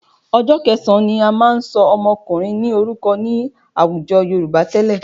Ọjọ́ kẹsàn-án ni a máa ń ṣọ ọmọkùnrin ní orúkọ ní àwùjọ Yorùbá tẹ́lẹ̀